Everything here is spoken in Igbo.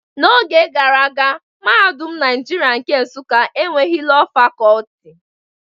N'oge gara, Mahadum Naijiria nke Nsuka enweghị Lọọ Fakọlti.